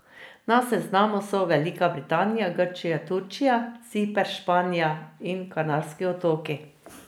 Na seznamu so Velika Britanija, Grčija, Turčija, Ciper, Španija in Kanarski otoki.